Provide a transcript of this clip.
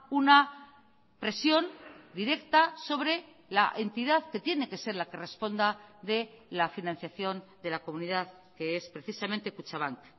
una presión directa sobre la entidad que tiene que ser la que responda de la financiación de la comunidad que es precisamente kutxabank